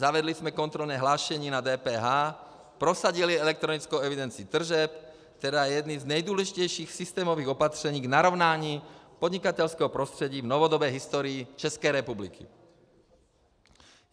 Zavedli jsme kontrolní hlášení na DPH, prosadili elektronickou evidenci tržeb, která je jedním z nejdůležitějších systémových opatření k narovnání podnikatelského prostředí v novodobé historii České republiky.